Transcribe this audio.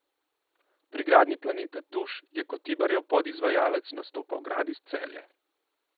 Pri gradnji Planeta Tuš je kot Tibarjev podizvajalec nastopal Gradis Celje.